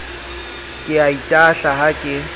ke a itahla ha ke